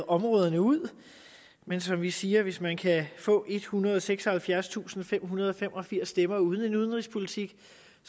områderne ud men som vi siger hvis man kan få ethundrede og seksoghalvfjerdstusindfemhundrede og femogfirs stemmer uden en udenrigspolitik